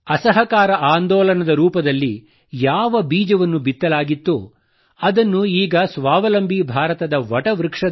ಅಸಹಕಾರ ಆಂದೋಲನದ ರೂಪದಲ್ಲಿ ಯಾವ ಬೀಜವನ್ನು ಬಿತ್ತಲಾಗಿತ್ತೊ ಅದನ್ನು ಈಗ ಸ್ವಾವಲಂಬಿ ಭಾರತದ ವಟವೃಕ್ಷದಂತೆ